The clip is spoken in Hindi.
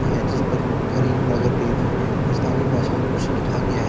है जिस पर करीमनगर डेयरी और स्थानीय भाषा में कुछ लिखा गया है।